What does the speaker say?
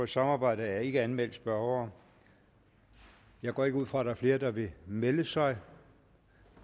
samarbejde er ikke anmeldt spørgere jeg går ikke ud fra at der er flere der vil melde sig